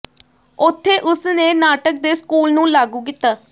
ਉੱਥੇ ਉਸ ਨੇ ਨਾਟਕ ਦੇ ਸਕੂਲ ਨੂੰ ਲਾਗੂ ਕੀਤਾ